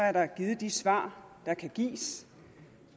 er der givet de svar der kan gives